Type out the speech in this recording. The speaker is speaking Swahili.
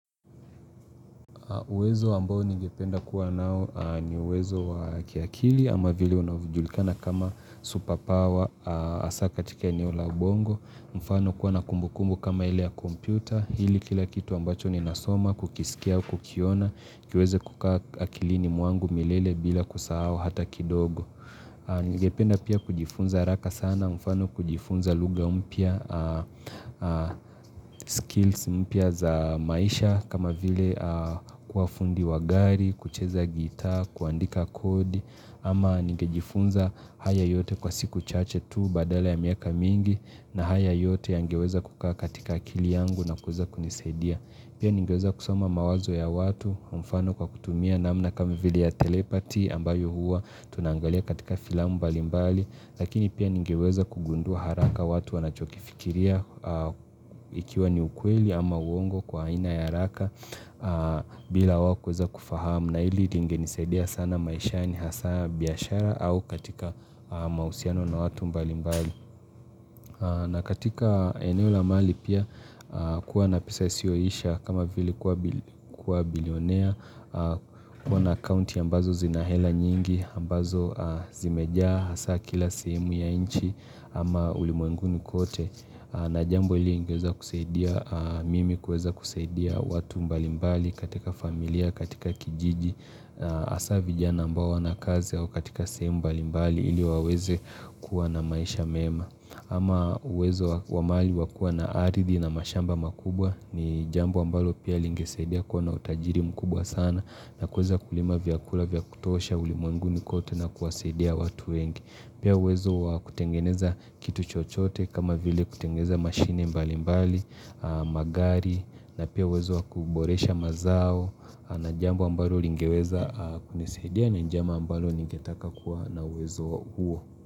Uwezo ambao ningependa kuwa nao ni uwezo wa kiakili ama vile unavyo julikana kama supapawa hasa katika eneo la ubongo. Mfano kuwa na kumbukumbu kama ile ya kompyuta. Hili kila kitu ambacho ni nasoma kukisikia kukiona. Kiweze kukaa akilini mwangu milele bila kusahau hata kidogo. Ningependa pia kujifunza haraka sana. Mfano kujifunza lugha mpya skills mpya za maisha kama vile kuwaa fundi wa gari, kucheza gita, kuandika kodi ama ningejifunza haya yote kwa siku chache tu badala ya miaka mingi na haya yote yangeweza kukaa katika akili yangu na kuweza kunisaidia pia ningeweza kusoma mawazo ya watu, mfano kwa kutumia na namna kama vile ya telepati ambayo huwa tunangalia katika filamu mbalimbali Lakini pia ningeweza kugundua haraka watu wanachokifikiria ikiwa ni ukweli ama uongo kwa aina ya haraka bila wao kuweeza kufahamu na hili lingenisaidia sana maisha hasa biashara au katika mahusiano na watu mbali mbali na katika eneo la mali pia kuwa na pesa isiyoisha kama vili kuwa bilionea kuwa na account ya mbazo zinahela nyingi, ambazo zimejaa hasa kila sehemu ya nchi ama ulimwenguni kote na jambo hili lingeweza kusaidia, mimi kuweza kusaidia watu mbalimbali katika familia, katika kijiji, hasa vijana ambao hawana kazi au katika sehemu mbalimbali ili waweze kuwa na maisha mema ama uwezo wa mali wakuwa na aridhi na mashamba makubwa ni jambo ambalo pia lingesaidia kuwa na utajiri mkubwa sana na kuweza kulima vyakula vyakutosha, ulimwenguni kote na kuwasaidia watu wengi. Pia uwezo kutengeneza kitu chochote kama vile kutengeneza mashine mbali mbali, magari na pia uwezo kuboresha mazao na jambo ambalo lingeweza kunisaidiaia na njama ambalo lingetaka kuwa na uwezo huo.